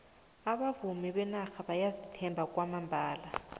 abavumi benarha bayazithemba kwamambala